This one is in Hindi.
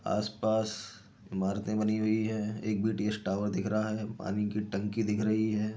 आसपास इमारतें बनी हुई है। एक बीटीएस टॉवर दिख रहा है। पानी की टंकी दिख रही है।